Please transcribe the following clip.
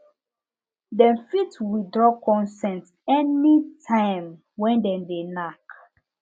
dem fit withdraw consent anytime when dem de knack